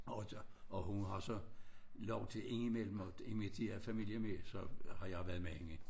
Og der og hun har så lov til indimellem og invitere familie med så har jeg været med hende